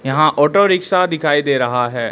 यहां auto rickshaw दिखाई दे रहा है।